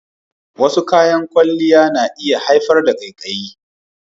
Wasu kayan kwalliya na iya haifar da ƙaiƙayi.